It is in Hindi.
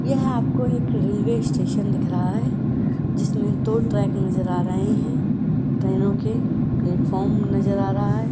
यहाँ आपका रेल्वे स्टेशन दिख रहा है जिसमें दो ट्रैक नजर आ रहे हैं ट्रेनों के प्लेटफार्म नजर आ रहा है।